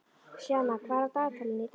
Sjana, hvað er á dagatalinu í dag?